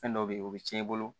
Fɛn dɔ be ye o be tiɲɛ i bolo